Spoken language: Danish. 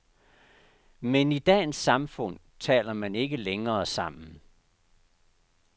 Men i dagens samfund taler man ikke længere sammen.